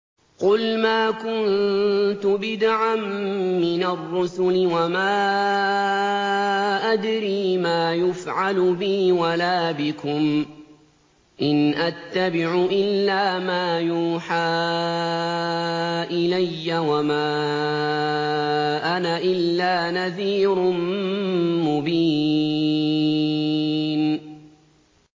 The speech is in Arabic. قُلْ مَا كُنتُ بِدْعًا مِّنَ الرُّسُلِ وَمَا أَدْرِي مَا يُفْعَلُ بِي وَلَا بِكُمْ ۖ إِنْ أَتَّبِعُ إِلَّا مَا يُوحَىٰ إِلَيَّ وَمَا أَنَا إِلَّا نَذِيرٌ مُّبِينٌ